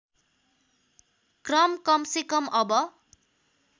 क्रम कमसेकम अब